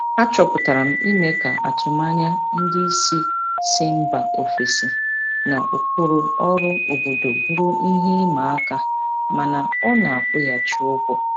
Achọpụtara m ime ka atụmanya ndị isi si mba ofesi na ụkpụrụ ọrụ obodo bụrụ ihe ịma aka mana ọ na-akwụghachi ụgwọ.